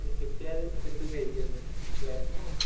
കിട്ടിയാല്‍ എന്തും കഴിക്കുക തന്നെ അല്ലേ?